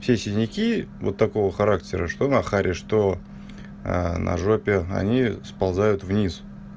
все синяки вот такого характера что на харе что на ж они сползают вниз